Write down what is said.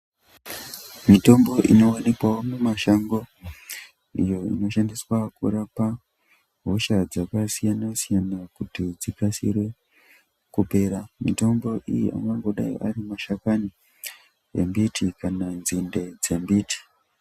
Mitombo inowanikwawo mumashango iyo inoshandiswa kurapa hosha dzakasiyana siyana kuti dzikasire kupera mitombo iyi angangodai ari mashakani embiti kana nzinde dzembiti.